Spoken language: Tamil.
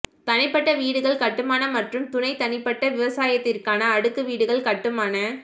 தனிப்பட்ட வீடுகள் கட்டுமான மற்றும் துணை தனிப்பட்ட விவசாயத்திற்கான அடுக்கு வீடுகள் கட்டுமான